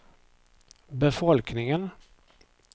befolkningen